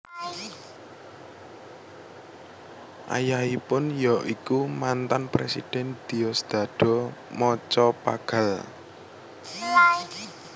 Ayahipun ya iku mantan Presiden Diosdado Macapagal